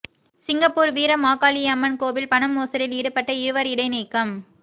Singapore Veera Makaliamman கோவில் பண மோசடியில் ஈடுபட்ட இருவர் இடை நீக்கம்